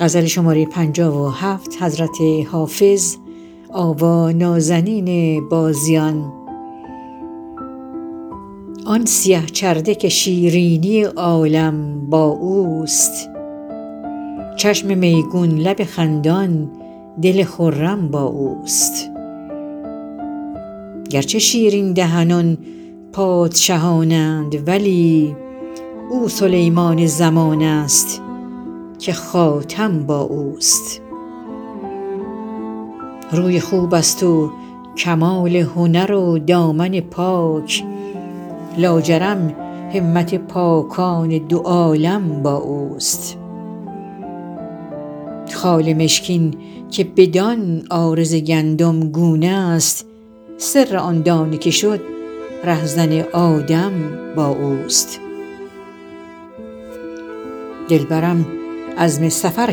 آن سیه چرده که شیرینی عالم با اوست چشم میگون لب خندان دل خرم با اوست گرچه شیرین دهنان پادشهان اند ولی او سلیمان زمان است که خاتم با اوست روی خوب است و کمال هنر و دامن پاک لاجرم همت پاکان دو عالم با اوست خال مشکین که بدان عارض گندمگون است سر آن دانه که شد رهزن آدم با اوست دلبرم عزم سفر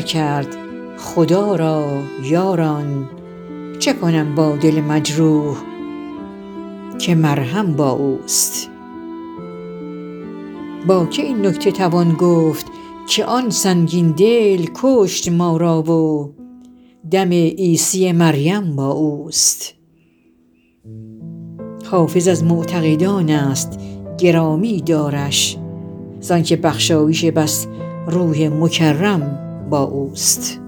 کرد خدا را یاران چه کنم با دل مجروح که مرهم با اوست با که این نکته توان گفت که آن سنگین دل کشت ما را و دم عیسی مریم با اوست حافظ از معتقدان است گرامی دارش زان که بخشایش بس روح مکرم با اوست